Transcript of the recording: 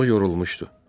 O yorulmuşdu.